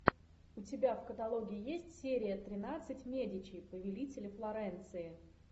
у тебя в каталоге есть серия тринадцать медичи повелители флоренции